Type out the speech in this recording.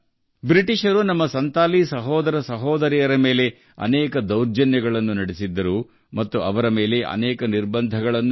ಬ್ರಿಟಿಷರು ನಮ್ಮ ಸಂತಾಲ್ ಸಹೋದರ ಸಹೋದರಿಯರ ಮೇಲೆ ಅನೇಕ ದೌರ್ಜನ್ಯಗಳನ್ನು ನಡೆಸಿದರು ಅವರ ಮೇಲೆ ಅನೇಕ ರೀತಿಯ ನಿರ್ಬಂಧಗಳನ್ನು ವಿಧಿಸಿದರು